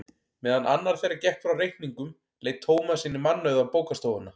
Meðan annar þeirra gekk frá reikningnum leit Tómas inn í mannauða bókastofuna.